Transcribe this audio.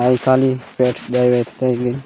आई काली पेट डायवेथता गि --